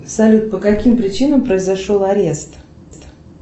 салют по каким причинам произошел арест